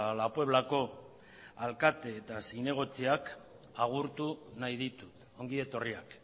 la pueblako alkate eta zinegotziak agurtu nahi ditut ongi etorriak